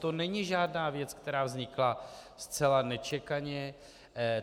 To není žádná věc, která vznikla zcela nečekaně.